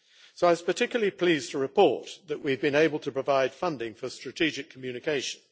I was particularly pleased to report that we have been able to provide funding for strategic communications.